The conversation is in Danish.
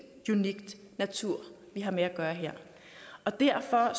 unik natur vi har med at gøre her og derfor